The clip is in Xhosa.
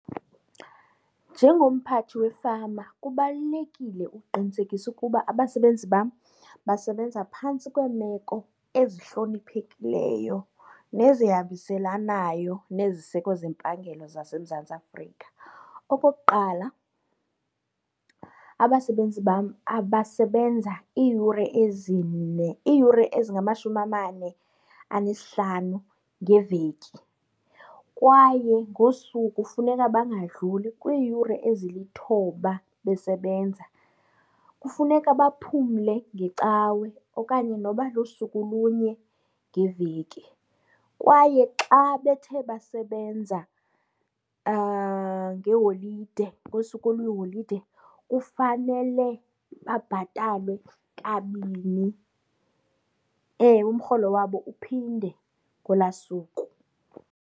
Njengomphathi wefama kubalulekile ukuqinisekisa ukuba abasebenzi bam basebenza phantsi kweemeko ezihloniphekileyo nezihambiselanayo neziseko zempangelo zaseMzantsi Afrika. Okokuqala abasebenzi bam abasebenza iiyure ezine, iiyure ezingamashumi amane anesihlanu ngeveki kwaye ngosuku funeka bangadluli kwiiyure ezilithoba besebenza. Kufuneka baphumle ngecawe okanye noba lusuku lunye ngeveki. Kwaye xa bethe basebenza ngeholide ngosuku oluyiholide kufanele babhatalwe kabini. Ewe, umrholo wabo uphinde ngolwaa suku.